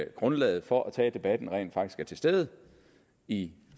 grundlaget for at tage debatten rent faktisk er til stede i